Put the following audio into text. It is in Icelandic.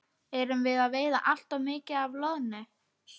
Erum við að veiða allt of mikið af loðnu?